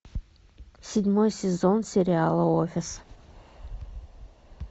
седьмой сезон сериала офис